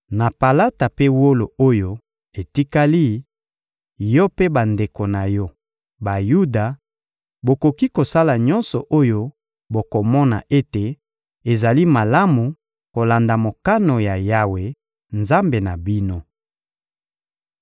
Na palata mpe wolo oyo etikali, yo mpe bandeko na yo, Bayuda, bokoki kosala nyonso oyo bokomona ete ezali malamu kolanda mokano ya Yawe, Nzambe na bino.